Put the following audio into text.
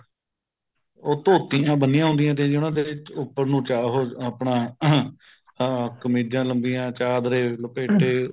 ਉਹ ਧੋਤੀਆਂ ਬੰਨੀਆਂ ਹੁੰਦੀਆਂ ਸੀ ਉਹਨਾ ਤੇ ਉੱਪਰ ਨੂੰ ਚੜ ਆਪਣਾ ਅਹ ਕਮੀਜਾ ਲੰਬੀਆ ਚਾਦਰੇ ਲਪੇਟੇ